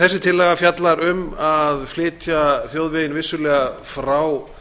þessi tillaga fjallar um að flytja þjóðveginn vissulega frá